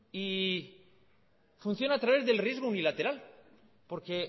y funciona a través del riesgo unilateral porque